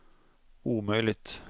omöjligt